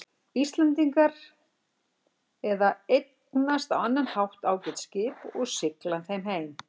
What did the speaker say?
Íslendingar eða eignast á annan hátt ágæt skip og sigla þeim heim.